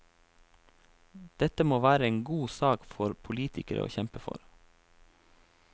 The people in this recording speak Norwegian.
Dette må være en god sak for politikere å kjempe for.